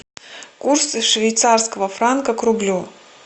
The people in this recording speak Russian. курс швейцарского франка к рублю